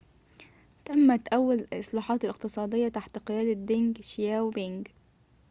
تمت أول الإصلاحات الاقتصادية تحت قيادة دينج شياو بينج